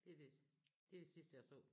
Det er det det er det sidste jeg så